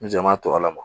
N jɛman tɔ la